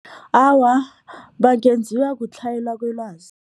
Awa, bangenziwa kutlhayelwa kwelwazi.